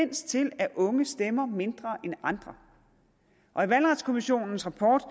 til at unge stemmer mindre end andre og i valgretskommissionens rapport